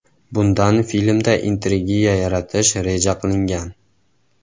Bundan filmda intrigiya yaratish reja qilingan.